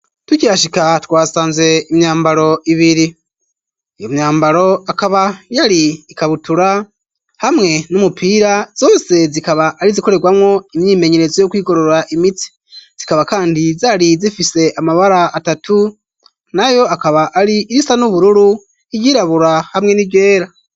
Tukihashika twasanze imyambaro ibiri . Iyo myambaro akaba yari ikabutura hamwe n'umupira , zose zikaba ari zikorerwamwo imyimenyerezo yo kwigorora imitsi, zikaba kandi zari zifise amabara atatu nayo akaba ari irisa n'ubururu iryirabura hamwe n'iryera.